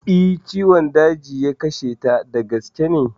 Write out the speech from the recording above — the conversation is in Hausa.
Eh, ciwon daji ya kashe ta, da gaske ne